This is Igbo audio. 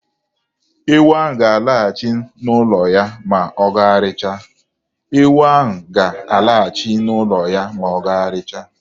Ewu ahụ ga-alaghachi n'ụlọ ya ma ọ gagharịchaa.